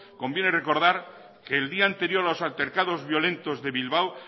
conviene recordar que el día anterior a los altercados violentos de bilbao